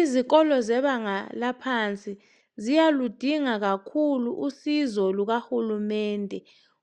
Izikolo zebanga laphansi ziyaludinga kakhulu usizo lukahulumende